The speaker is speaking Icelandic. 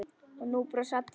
Og nú brosa allir.